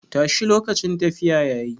Tashi lokacin tafiya yayi.